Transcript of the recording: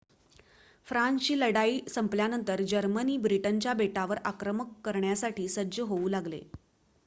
फ्रान्सची लढाई संपल्यानंतर जर्मनी ब्रिटनच्या बेटावर आक्रमण करण्यासाठी सज्ज होऊ लागले